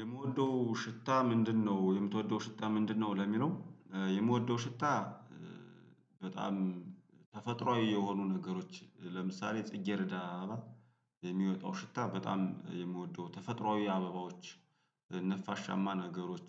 የምትወደው ሽታ ምንድነው? የምትወደው ሽታ ምንድነው ለሚለው የምወደው ሽታ በጣም ተፈጥሮአዊ የሆኑ ነገሮች ለምሳሌ ጽጌረዳ አበባ የሚወጣው ሽታ በጣም የምወደው ተፈጥሮአዊ አበባዎች ነፋሻማ ነገሮች